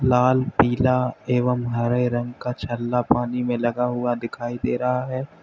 लाल पीला एवं हरे रंग का छल्ला पानी में लगा हुआ दिखाई दे रहा है।